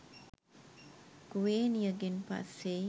කුවේනියගෙන් පස්සෙයි